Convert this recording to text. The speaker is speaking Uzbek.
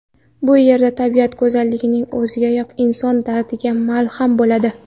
Bu yerda tabiat go‘zalligining o‘ziyoq inson dardiga malham bo‘ladi.